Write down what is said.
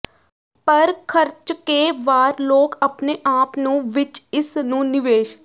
ਪਰ ਖਰਚ ਕੇ ਵਾਰ ਲੋਕ ਆਪਣੇ ਆਪ ਨੂੰ ਵਿੱਚ ਇਸ ਨੂੰ ਨਿਵੇਸ਼